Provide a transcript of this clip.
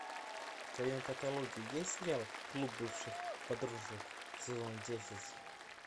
в твоем каталоге есть сериал клуб бывших подружек сезон десять